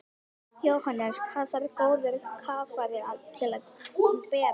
Jóhannes: Hvað þarf góður kafari til að bera?